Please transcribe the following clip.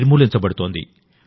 నిర్మూలించబడుతోంది